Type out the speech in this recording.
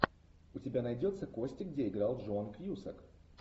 у тебя найдется кости где играл джон кьюсак